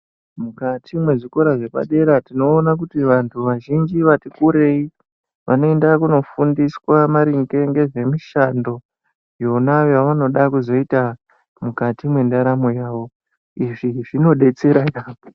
Mukati mwezvikora zvepadera tinoone kuti vantu vazhinji vati kureyi vanoenda kunofundiswa maringe ngezvemushando yavanoda kuzoita mukati mendaramo yavo ,izvo zvinodetsera yaambo.